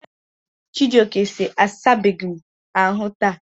Chijioke si, asabeghị m asa ahụ taa.